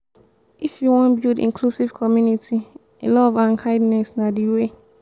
if we wan build inclusive community love and kindness na de way.